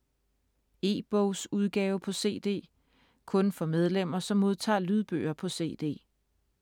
E-bogsudgave på cd (kun for medlemmer, som modtager lydbøger på cd)